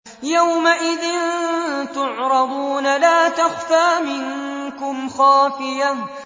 يَوْمَئِذٍ تُعْرَضُونَ لَا تَخْفَىٰ مِنكُمْ خَافِيَةٌ